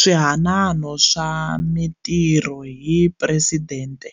Swihanano swa Mitirho hi Presidente